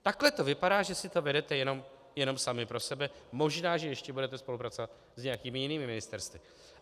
Takhle to vypadá, že si to vedete jenom sami pro sebe, možná že ještě budete spolupracovat s nějakými jinými ministerstvy.